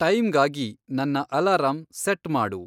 ಟೈಮ್‌ಗಾಗಿ ನನ್ನ alarm set ಮಾಡು